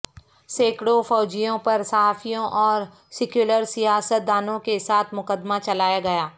سینکڑو فوجیوں پر صحافیوں اور سیکولر سیاست دانوں کے ساتھ مقدمہ چلایا گیا